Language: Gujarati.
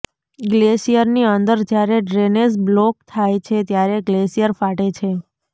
ગ્લેશિયરની અંદર જ્યારે ડ્રેનેજ બ્લોક થાય છે ત્યારે ગ્લેશિયર ફાટે છે